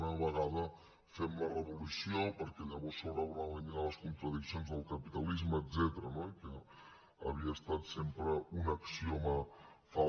una vegada fem la revolució perquè llavors s’hauran eliminat les contradiccions del capitalisme etcètera i que havia estat sempre un axioma fals